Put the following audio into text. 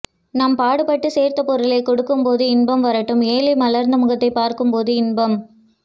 நாம் பாடுபட்டு சேர்த்த பொருளை கொடுக்கும்போதும் இன்பம் வாடும் ஏழை மலர்ந்த முகத்தை பார்க்கும்போதும் இன்பம்